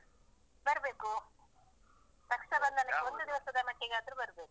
ಬರ್ಬೇಕೂ . ರಕ್ಷಾಬಂಧನಕ್ಕೆ. ಒಂದು ದಿವಸದ ಮಟ್ಟಿಗಾದ್ರೂ ಬರ್ಬೇಕು.